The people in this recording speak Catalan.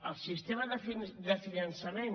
el sistema de finançament